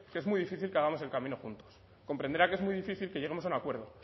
que es muy difícil que hagamos el camino juntos comprenderá que es muy difícil que lleguemos a un acuerdo